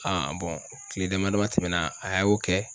kile dama dama tɛmɛna a y'o kɛ